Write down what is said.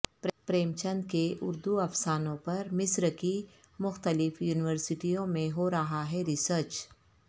پریم چند کے اردو افسانوں پر مصر کی مختلف یونیورسٹیوں میں ہورہا ہے ریسرچ